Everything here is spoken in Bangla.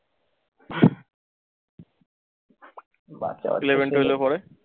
eleven, twelve এ পড়ে।